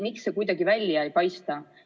Miks see kuidagi välja ei paista?